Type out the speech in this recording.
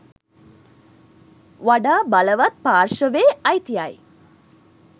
වඩා බලවත් පාර්ශවයේ අයිතියයි.